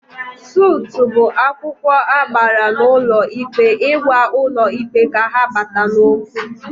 Sutụ bụ akwụkwọ agbara n'ụlọ ikpe ịgwa ụlọ ikpe ka ha bata n'okwu